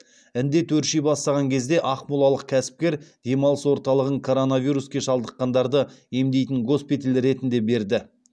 індет өрши бастаған кезде ақмолалық кәсіпкер демалыс орталығын коронавируске шалдыққандарды емдейтін госпиталь ретінде берді